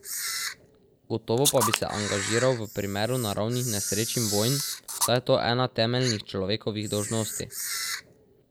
Gotovo pa bi se angažiral v primeru naravnih nesreč in vojn, saj je to ena temeljnih človekovih dolžnosti.